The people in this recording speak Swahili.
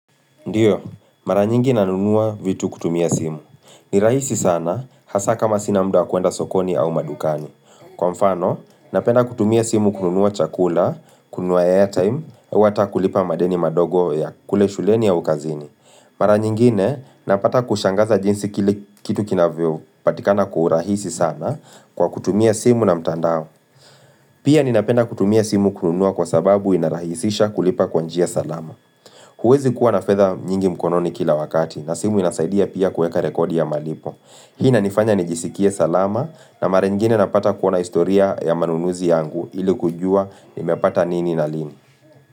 Ndio, mara nyingi nanunua vitu kutumia simu. Ni rahisi sana, hasa kama sina muda wa kuenda sokoni au madukani. Kwa mfano, napenda kutumia simu kununua chakula, kununua airtime, au hata kulipa madeni madogo ya kule shuleni ya kazini. Mara nyingine, napata kushangaza jinsi kitu kitu kinavyopatikana kwa urahisi sana kwa kutumia simu na mtandao. Pia ninapenda kutumia simu kununua kwa sababu inarahisisha kulipa kwa njia salama. Huwezi kuwa na fedha nyingi mkononi kila wakati na simu inasaidia pia kueka rekodi ya malipo. Hii inanifanya nijisikie salama na mara ingine napata kuona historia ya manunuzi yangu ili kujua nimepata nini na lini.